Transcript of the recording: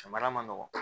Samara man nɔgɔ